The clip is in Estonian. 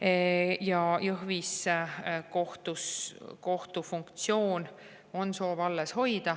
Meil on soov Jõhvis kohtufunktsioon alles hoida.